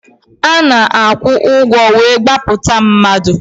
A na-akwụ ụgwọ wee gbapụta mmadụ.